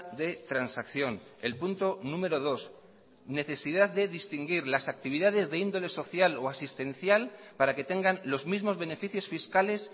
de transacción el punto número dos necesidad de distinguir las actividades de índole social o asistencial para que tengan los mismos beneficios fiscales